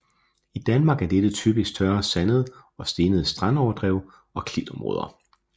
I Danmark er dette typisk tørre sandede og stenede strandoverdrev og klitområder